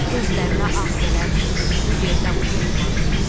Gözlərinə ağ gələr bu yerdən pay umanının.